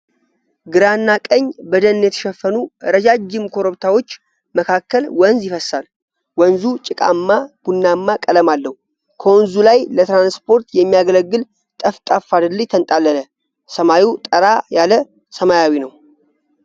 ግራና ቀኝ በደን የተሸፈኑ ረጃጅም ኮረብታዎች መካከል ወንዝ ይፈስሳል። ወንዙ ጭቃማ ቡናማ ቀለም አለው። ከወንዙ ላይ ለትራንስፖርት የሚያገለግል ጠፍጣፋ ድልድይ ተንጣለለ። ሰማዩ ጠራ ያለ ሰማያዊ ነው።